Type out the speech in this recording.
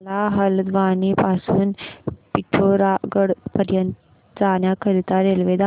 मला हलद्वानी पासून ते पिठोरागढ पर्यंत जाण्या करीता रेल्वे दाखवा